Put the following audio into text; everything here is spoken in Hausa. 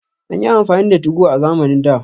An yi amfani da 2go a zamanin da